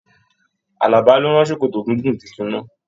Àlàbá ló rán sòkòtò gígùn títún náa